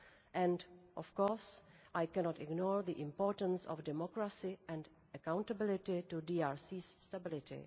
Also, of course, I cannot ignore the importance of democracy and accountability to the DRC's stability.